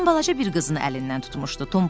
Qadın balaca bir qızın əlindən tutmuşdu.